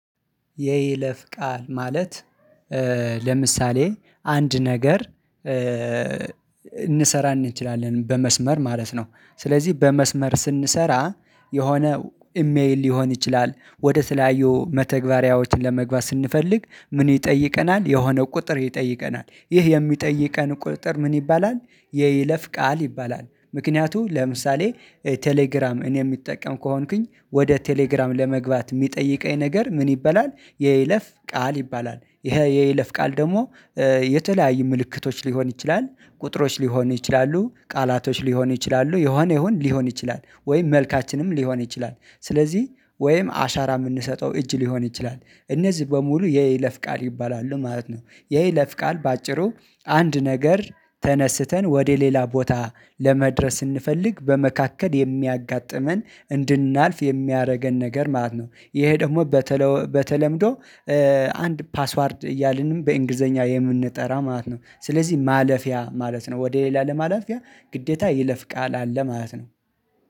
የይለፍ ቃል ማለት። ለምሳሌ አንድ ነገር እንሰራ እንችላለን በመስመር ማለት ነው። ስለዚህ በመስመር ስንሰራ የሆነ ኢሜል ሊሆን ይችላል ወደ ተለያዩ መተግበሪያዎች ለመግባት ስንፈልግ ምን ይጠይቀናል የሆነ ቁጥር ይጠይቀናል ይህ የሚጠይቀን ቁጥር ምን ይባላል? የይለፍ ቃል ይባላል ምክንያቱ ለምሳሌ ቴሌግራም እኔ የሚጠቀም ከሆንኩኝ ወደ ቴሌግራም ለመግባት የሚጠይቀኝ ነገር ምን ይበላል የይለፍ ቃል ይባላል። ይሄ የይለፍ ቃል ደግሞ የተለያዩ ምልክቶች ሊሆን ይችላል። ቁጥሮች ሊሆኑ ይችላሉ ቃላቶች ሊሆኑ ይችላሉ የሆነ ይሆን ሊሆን ይችላል ወይም መልካችንም ሊሆን ይችላል ስለዚህ ወይም አሻራ የምንሰጠው እጅ ሊሆን ይችላል እነዚህ በሙሉ የይለፍ ቃል ይባላሉ ማለት ነው። የይለፍ ቃል በአጭሩ አንድ ነገር ተነስተን ወደ ሌላ ቦታ ለመድረስ ስንፈልግ በመካከል የሚያጋጥመን እንድናልፍ የሚያደርገን ነገር ማለት ነው። ይሄ ደግሞ በተለምዶ አንድ ፓስዋርድ እያልን በእንግሊዘኛ የምንጠራ ማለት ነው። ስለዚህ ማለፊያ ማለት ነው ወደ ሌላ ለማላፊያ ግዴታ ይለፍ ቃል አለ ማለት ነው።